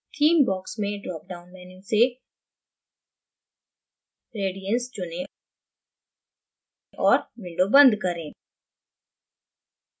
theme box में drop down menu से radiance चुनें और window बंद करें